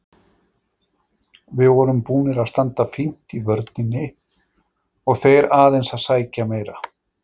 Við vorum búnir að standa fínt í vörninni og þeir aðeins að sækja meira.